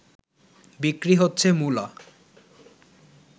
বিক্রি হচ্ছে মূলা